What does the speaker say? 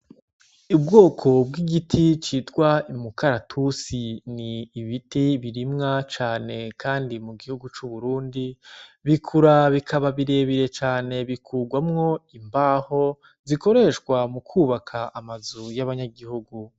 Ubwoko bw'igiti citwa imukaratusi ni ibiti birimwa cane, kandi mu gihugu c'uburundi bikura bikaba birebire cane bikurwamwo imbaho zikoreshwa mu kwubaka amazu y'abanyagihugu.